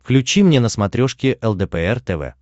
включи мне на смотрешке лдпр тв